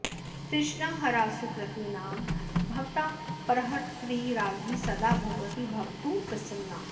तृष्णाहरा सुकृतिनां भवतापहर्त्री राज्ञी सदा भगवती भवतु प्रसन्ना